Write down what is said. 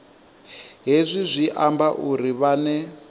hezwi zwi amba uri vhane